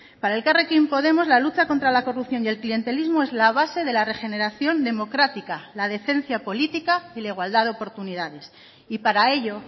para elkarrekin podemos la lucha contra la corrupción y el clientelismo es la base de la regeneración democrática la decencia política y la igualdad de oportunidades y para ello